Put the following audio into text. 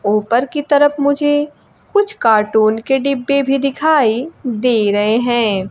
ऊपर की तरफ मुझे कुछ कार्टून के डिब्बे भी दिखाई दे रहे हैं।